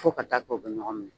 Fo ka taa kɛ u be ɲɔgɔn minɛ.